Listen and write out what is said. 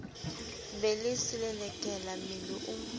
be le selelekela mmele o